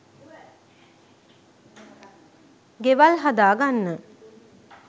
ගෙවල් හදා ගන්න